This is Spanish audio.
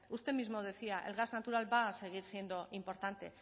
usted mismo decía el gas natural va a seguir siendo importante